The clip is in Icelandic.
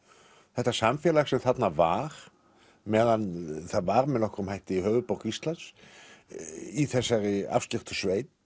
þetta samfélag sem þarna var meðan það var með nokkrum hætti höfuðborg Íslands í þessari afskekktu sveit